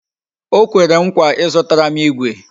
O kwere m nkwa Ị zụtara m igwe